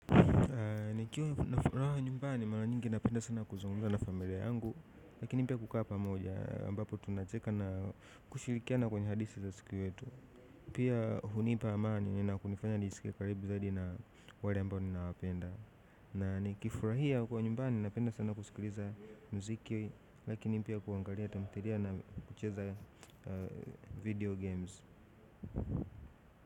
Nikiwa na furaha nyumbani, mara nyingi napenda sana kuzungumza na familia yangu. Lakini pia kukaa pamoja, ambapo tunacheka na kushirikiana kwenye hadithi za siku wetu. Pia hunipa amani na kunifanya niskie karibu zaidi na wale ambao ninawapenda na nikifurahia kuwa nyumbani, napenda sana kusikiliza mziki. Lakini pia kuangalia, tamthilia na kucheza video games.